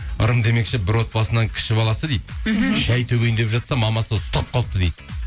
ырым демекші бір отбасының кіші баласы дейді мхм шәй төгейін деп жатса мамасы ұстап қалыпты дейді